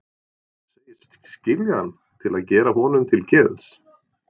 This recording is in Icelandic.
Segist skilja hann til að gera honum til geðs.